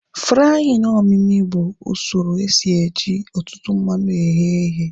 Fraaịn omimi bụ usoro esi eji ọtụtụ mmanụ eghe ihe